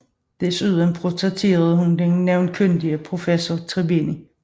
Desuden portrætterede hun den navnkundige professor Tribini